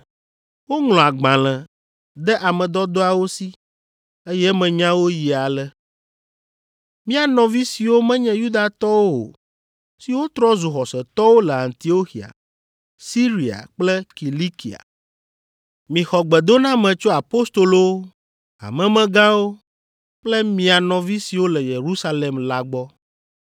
Woŋlɔ agbalẽ de ame dɔdɔawo si, eye emenyawo yi ale: Mía nɔvi siwo menye Yudatɔwo o siwo trɔ zu xɔsetɔwo le Antioxia, Siria kple Kilikia, Mixɔ gbedoname tso. Apostolowo, hamemegãwo kple mia nɔvi siwo le Yerusalem la gbɔ.